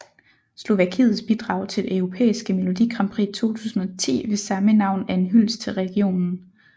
Slovakiets bidrag til det europæiske melodi grandprix 2010 ved samme navn er en hyldest til regionen